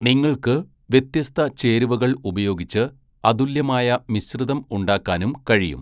നിങ്ങൾക്ക് വ്യത്യസ്ത ചേരുവകൾ ഉപയോഗിച്ച് അതുല്യമായ മിശ്രിതം ഉണ്ടാക്കാനും കഴിയും.